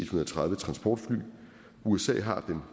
og tredive transportfly usa har den